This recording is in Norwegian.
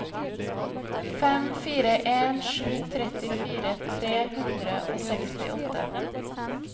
fem fire en sju trettifire tre hundre og sekstiåtte